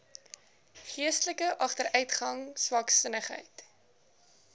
geestelike agteruitgang swaksinnigheid